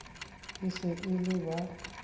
e se e le ba